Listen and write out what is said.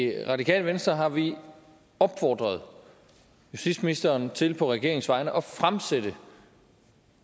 i det radikale venstre har vi opfordret justitsministeren til på regeringens vegne at fremsætte